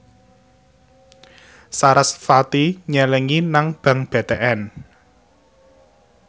sarasvati nyelengi nang bank BTN